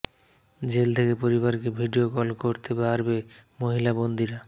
jail থেকে পরিবারকে video call করতে পারবে মহিলা বন্দিরা